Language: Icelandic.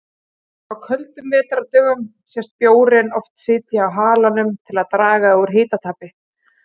Á köldum vetrardögum sést bjórinn oft sitja á halanum til að draga úr hitatapi.